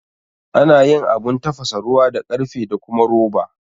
Ana yin Abun tafasa ruwa da karfe da kuma roba